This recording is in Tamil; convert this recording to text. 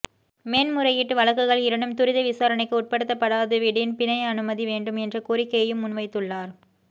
மேன்முறையீட்டு வழக்குகள் இரண்டும் துரித விசாரணைக்கு உட்படுத்தப்படாதுவிடின் பிணை அனுமதி வேண்டும் என்ற கோரிக்கையையும் முன்வைத்துள்ளார்